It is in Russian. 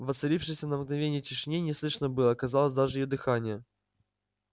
в воцарившейся на мгновение тишине не слышно было казалось даже её дыхания